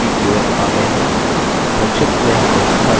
संक्षिप्त में हमने सीखा कि: